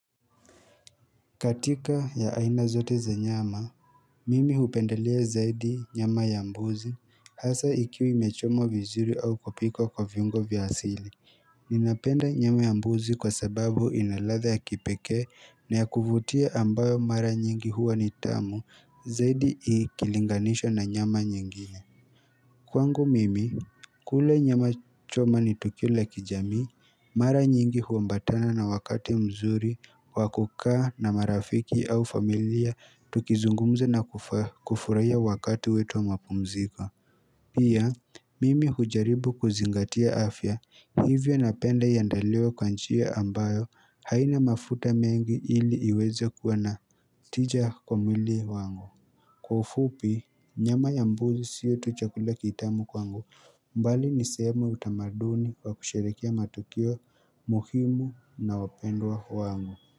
Katika ya aina zote za nyama, mimi hupendelea zaidi nyama ya mbuzi hasa ikiwa imechomwa vizuri au kupikwa kwa viungo vya asili. Ninapenda nyama ya mbuzi kwa sababu ina ladha ya kipekee na ya kuvutia ambayo mara nyingi huwa ni tamu zaidi ikilinganishwa na nyama nyingine. Kwangu mimi, kula nyama choma ni tukio la kijamii, mara nyingi huambatana na wakati mzuri, wa kukaa na marafiki au familia, tukizungumza na kufurahia wakati wetu wa mapumziko. Pia, mimi hujaribu kuzingatia afya, hivyo napenda iandaliwe kwa nchia ambayo haina mafuta mengi ili iweza kuwa na tija kwa mwili wangu. Kwa ufupi, nyama ya mbuzi sio tu chakula kitamu kwangu mbali ni sehemu ya utamaduni kwa kusherekea matukio muhimu na wapendwa wangu.